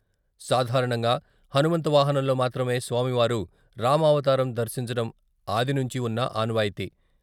సాధారణంగా హనుమంత వాహనంలో మాత్రమే స్వామివారు "రామావతారం" ధర్శించడం ఆది నుంచి ఉన్న ఆనవాయితీ.